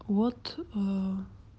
вот